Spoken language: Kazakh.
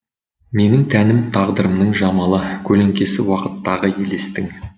менің тәнім тағдырымның жамалы көлеңкесі уақыттағы елестің